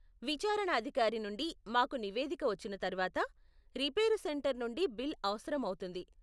విచారణ అధికారి నుండి మాకు నివేదిక వచ్చిన తర్వాత, రిపేరు సెంటర్ నుండి బిల్ అవసరం అవుతుంది.